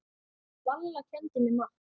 Valla kenndi mér margt.